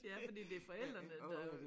Ja fordi det forældrene der øh